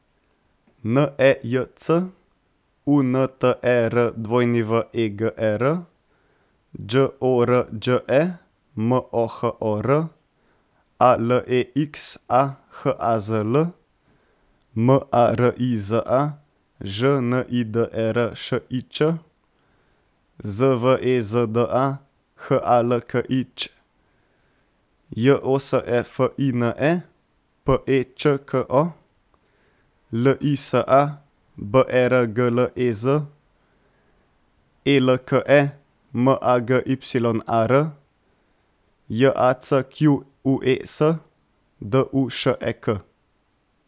N E J C, U N T E R W E G E R; Đ O R Đ E, M O H O R; A L E X A, H A Z L; M A R I Z A, Ž N I D E R Š I Č; Z V E Z D A, H A L K I Ć; J O S E F I N E, P E Č K O; L I S A, B E R G L E Z; E L K E, M A G Y A R; J A C Q U E S, D U Š E K.